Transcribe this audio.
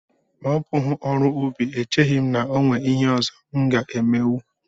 Ma ọ bụghị ọrụ ubi echeghị m na e nwere ihe ọzọ m ga-emenwu